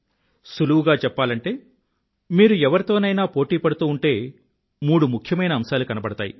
సులువుగా చెప్పాలంటే మీరు ఎవరితోనైనా పోటీ పడుతూంటే మూడు ముఖ్యమైన అంశాలు కనబడతాయి